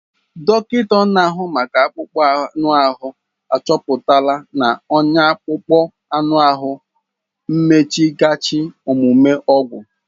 Dọkịta na-ahụ maka akpụkpọ anụ ahụ achọpụtala na ọnya akpụkpọ ahụ bụ mmeghachi omume ọgwụ.